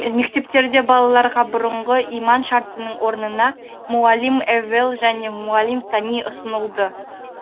мектептерде балаларға бұрынғы иман шартының орнына муаллим эввел және муаллим сани ұсынылды